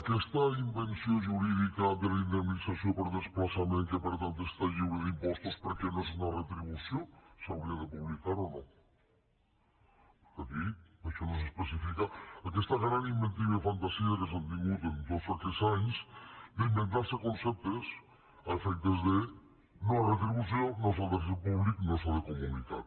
aquesta invenció jurídica de la indemnització per desplaçament que per tant està lliure d’impostos perquè no és una retribució s’hauria de publicar o no aquí tot això no s’especifica aquesta gran inventiva i fantasia que s’ha tingut en tots aquests anys d’inventar se conceptes a efectes de no retribució no s’ha de fer públic no s’ha de comunicar